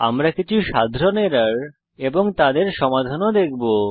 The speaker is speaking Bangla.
আমরা কিছু সাধারণ এরর এবং তাদের সমাধান ও দেখব